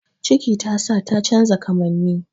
Ciki tasa ta canja kamanni